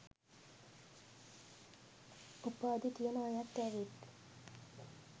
උපාධි තියන අයත් ඇවිත්